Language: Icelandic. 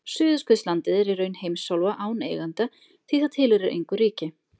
suðurskautslandið er í raun heimsálfa án eiganda því það tilheyrir engu ríki